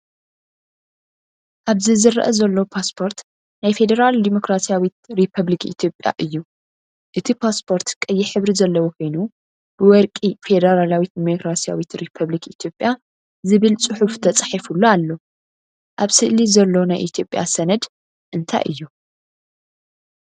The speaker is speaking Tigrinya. ኣብዚዝርአ ዘሎ ፓስፖርት ናይ ፌደራል ዲሞክራስያዊት ሪፓብሊክ ኢትዮጵያ እዩ። እቲ ፓስፖርት ቀይሕ ሕብሪ ዘለዎ ኮይኑ ብወርቂ "ፌደራላዊት ዲሞክራስያዊት ሪፓብሊክ ኢትዮጵያ" ዝብል ጽሑፍ ተጻሒፉሉ ኣሎ። ኣብ ስእሊ ዘሎ ናይ ኢትዮጵያ ሰነድ እንታይ እዩ?